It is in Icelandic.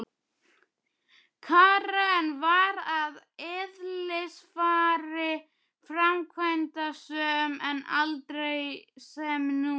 Karen var að eðlisfari framkvæmdasöm en aldrei sem nú.